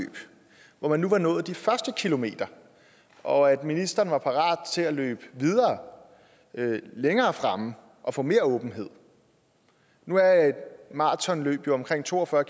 hvor man nu var nået de første kilometer og at ministeren var parat til at løbe videre længere frem og få mere åbenhed nu er et maratonløb jo omkring to og fyrre